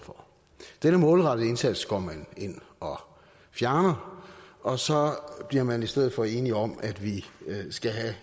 for denne målrettede indsats går man ind og fjerner og så bliver man i stedet for enige om at vi skal have